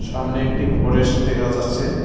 সামনে একটি ফরেস্ট দেখা যাচ্ছে।